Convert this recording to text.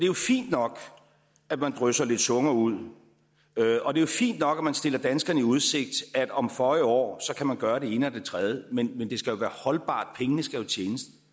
jo fint nok at man drysser lidt sukker ud og det er fint nok at man stiller danskerne i udsigt at om føje år kan man gøre det ene og det tredje men det skal være holdbart pengene skal tjenes